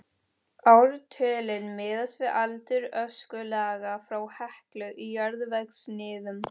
Ártölin miðast við aldur öskulaga frá Heklu í jarðvegssniðum.